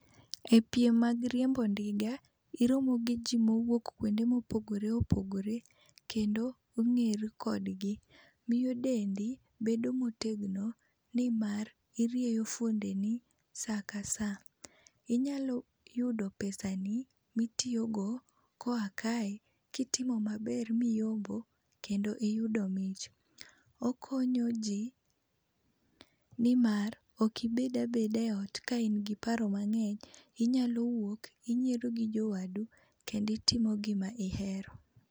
E piem mag riembo ndiga, iromo gi ji mowuok kuonde mopogore opogore. Kendo ung'eru kodgi. Miyo dendi bedo motegno nimar irieyo fuondeni saa ka saa. Inyalo yudo pesani mitiyogo koa kae kitimo maber miyombo kendo iyudo mich. Okonyo ji nimar ok ibed abeda e ot ka in gi paro mang'eny inyalo wuok inyiero gi jowadu kendo itimo gima ihero.